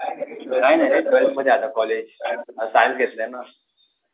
काय नाही रे ट्वेल्थमध्ये आहे आता कॉलेज, सायन्स घेतलंय ना.